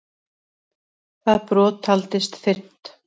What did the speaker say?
Það brot taldist fyrnt.